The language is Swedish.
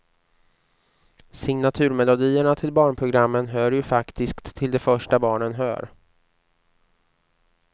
Signaturmelodierna till barnprogrammen hör ju faktiskt till det första barnen hör.